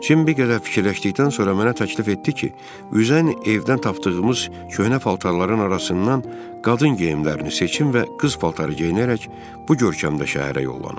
Cim bir qədər fikirləşdikdən sonra mənə təklif etdi ki, üzən evdən tapdığımız köhnə paltarların arasından qadın geyimlərini seçim və qız paltarı geyinərək bu görkəmdə şəhərə yollanım.